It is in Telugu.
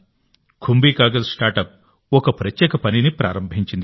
కుంభీ కాగజ్ స్టార్ట్అప్ ఒక ప్రత్యేక పనిని ప్రారంభించింది